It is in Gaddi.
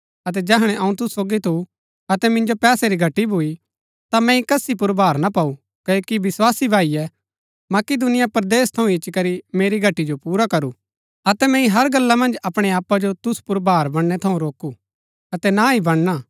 अतै जैहणै अऊँ तुसु सोगी थु अतै मिन्जो पैसै री घटी भूई ता मैंई कसी पुर भार ना पाऊ क्ओकि विस्वासी भाईए मकिदूनिया परदेस थऊँ इच्ची करी मेरी घटी जो पुरा करू अतै मैंई हर गल्ला मन्ज अपणै आपा जो तुसु पुर भार बनणै थऊँ रोकू अतै ना ही बनणा